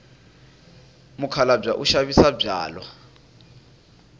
mukhalabye u xavisa byalwa